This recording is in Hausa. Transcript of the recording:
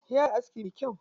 Ya iya aski me kyau.